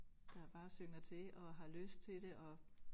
Der bare synger til og har lyst til det og